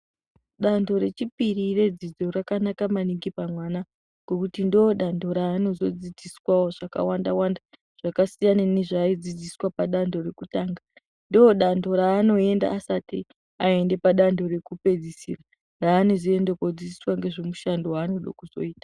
Danho rechipiri redzidzo rakanaka maningi pamwana ngokuti ndodanho raanozodzidziswavo zvakawanda-wanda zvakasiyana nezvaaidzidziswavo padanho rekutanga. Ndodanho raanoenda asati aenda padanho rekupedzisira raanozoende kodzidziswa nezvemushando vaanode kuzoita.